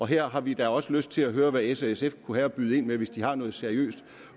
her har vi da også lyst til at høre hvad s og sf kunne have at byde ind med hvis de har noget seriøst